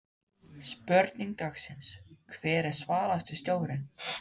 Spurning dagsins: Hver er svalasti stjórinn?